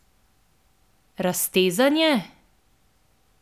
Raztezanje?